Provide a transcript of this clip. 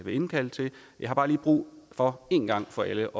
indkalde til jeg har bare lige brug for en gang for alle